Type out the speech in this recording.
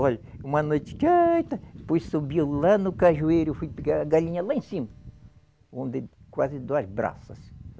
Olhe, uma noite,, fui subir lá no cajueiro, fui pegar a galinha lá em cima, onde quase duas braças.